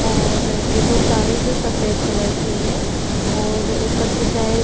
और एक और कार है जो सफ़ेद कलर की है और ऊपर की साइड --